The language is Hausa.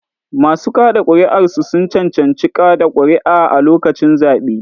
Masu kaɗa ƙuri'a sun cancanci kaɗa ƙuri'a a lokacin zaɓe.